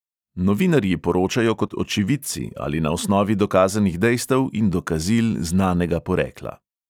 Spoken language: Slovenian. Novinarji poročajo kot očividci ali na osnovi dokazanih dejstev in dokazil znanega porekla.